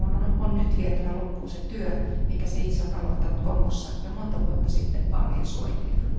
EUn on nyt vietävä loppuun se työ, minkä se itse on aloittanut Kongossa jo monta vuotta sitten vaalien suojelijana.